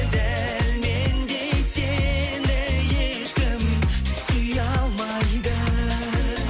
дәл мендей сені ешкім сүйе алмайды